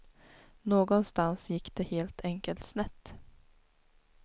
Någonstans gick det helt enkelt snett.